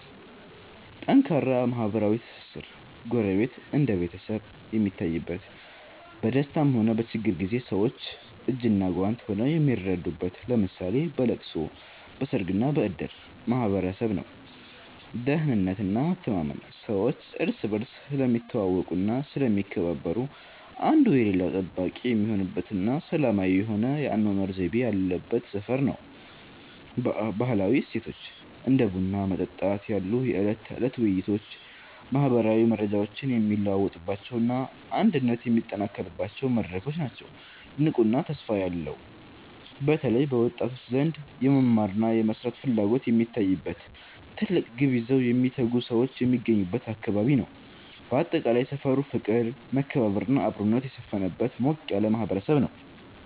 ጠንካራ ማህበራዊ ትስስር፦ ጎረቤት እንደ ቤተሰብ የሚታይበት፣ በደስታም ሆነ በችግር ጊዜ ሰዎች እጅና ጓንት ሆነው የሚረዳዱበት (ለምሳሌ በለቅሶ፣ በሰርግና በእድር) ማህበረሰብ ነው። ደህንነትና መተማመን፦ ሰዎች እርስ በርስ ስለሚተዋወቁና ስለሚከባበሩ፣ አንዱ የሌላው ጠባቂ የሚሆንበትና ሰላማዊ የሆነ የአኗኗር ዘይቤ ያለበት ሰፈር ነው። ባህላዊ እሴቶች፦ እንደ ቡና መጠጣት ያሉ የዕለት ተዕለት ውይይቶች ማህበራዊ መረጃዎች የሚለዋወጡባቸውና አንድነት የሚጠናከርባቸው መድረኮች ናቸው። ንቁና ተስፋ ያለው፦ በተለይ በወጣቶች ዘንድ የመማርና የመስራት ፍላጎት የሚታይበት፣ ትልቅ ግብ ይዘው የሚተጉ ሰዎች የሚገኙበት አካባቢ ነው። ባጠቃላይ፣ ሰፈሩ ፍቅር፣ መከባበርና አብሮነት የሰፈነበት ሞቅ ያለ ማህበረሰብ ነው።